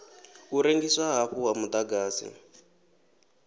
u rengiswa hafhu ha muḓagasi